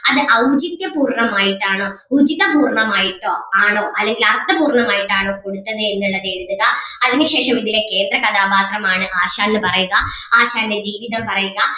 അത് ഔചിത്യ പൂർണം ആയിട്ടാണോ ഉചിതപൂർണം ആയിട്ടോ ആണോ അല്ലെങ്കിൽ അർത്ഥപൂർണം ആയിട്ടാണോ കൊടുത്തത് എന്നുള്ളത് എഴുതുക അതിനുശേഷം ഇതിലെ കേന്ദ്ര കഥാപാത്രമാണ് ആശാൻ എന്ന് പറയുക ആശാന്റെ ജീവിതം പറയുക